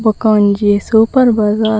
ಬೊಕ ಒಂಜಿ super bazaar .